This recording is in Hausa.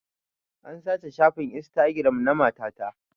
An sace shafin instagiram na mata ta